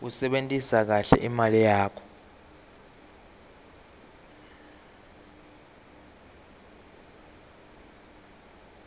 kusebentisa kahle imali yakho